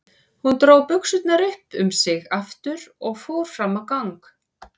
Hún dró buxurnar upp um sig aftur og fór fram á gang.